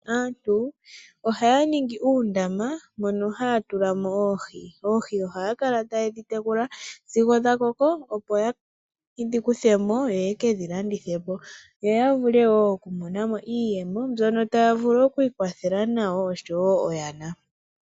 Aantu ohaya ningi uundama mono haya tulamo oohi. Oohi ohaya kala tayedhi tekula sigo dhakoko, opo yedhi kuthemo yo yekedhilandithepo, yo yavule woo okumonamo iiyemo mbyono taya vulu okwiikwathela nayo osho woo oyana.